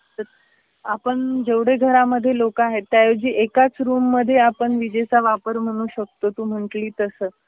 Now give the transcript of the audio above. तर आपण जेवढे घरामधी लोक आहे त्याऐवेजी एकाच रूममध्ये आपण विजेचा वापर म्हणून शकतो तो म्हंटली तस.